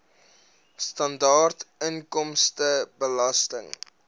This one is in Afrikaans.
sibw standaard inkomstebelasting